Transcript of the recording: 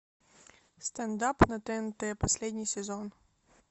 стендап на тнт последний сезон